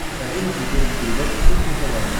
покажи на смотрешке передачу кухня тв